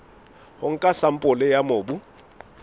ho nka sampole ya mobu